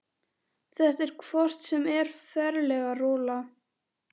Þetta er hvort sem er ferleg rola.